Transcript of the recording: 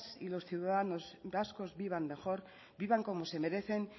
y los ciudadanos vascos vivan mejor vivan como se merecen